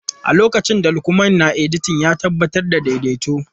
A lokacin Lukman na edita, ya tabbatar da daidaito.